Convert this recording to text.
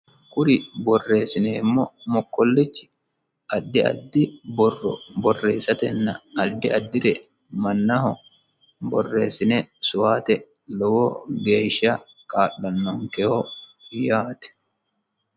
kuri borreessineemmo mokkollechi addi addi borro borreessatenna addi addire mannaho borreessine soota lowo geeshsha kaalanoonkeho yaate